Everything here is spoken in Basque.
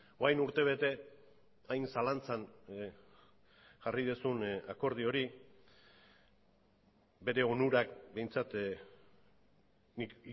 orain urtebete hain zalantzan jarri duzun akordio hori bere onurak behintzat nik